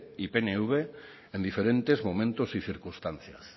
y pnv en diferentes momentos y circunstancias